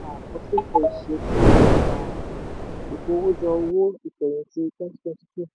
àkọsílẹ̀ ìṣesí um ìkówójọ owó ìfẹ̀yìntì twenty twenty two